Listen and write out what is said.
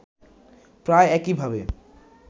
প্রায় একইভাবে